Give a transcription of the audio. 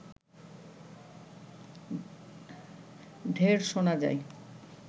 ঢেড় শোনা যায়